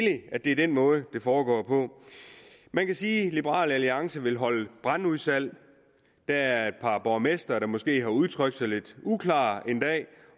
at det er den måde det foregår på man kan sige at liberal alliance vil holde brandudsalg der er et par borgmestre der måske har udtrykt sig lidt uklart en dag